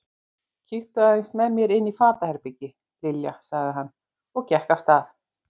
Kíktu aðeins með mér inn í fatahengi, Lilja sagði hann og gekk af stað.